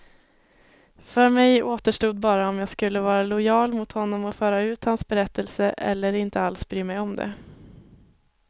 För mig återstod bara om jag skulle vara lojal mot honom och föra ut hans berättelse, eller inte alls bry mig om det.